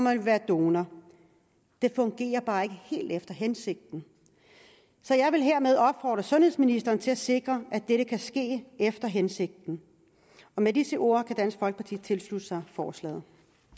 at være donor det fungerer bare ikke helt efter hensigten så jeg vil hermed opfordre sundhedsministeren til at sikre at dette kan ske efter hensigten med disse ord kan dansk folkeparti tilslutte sig forslaget